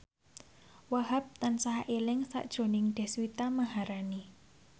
Wahhab tansah eling sakjroning Deswita Maharani